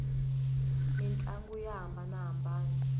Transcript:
mintlangu ya hambanana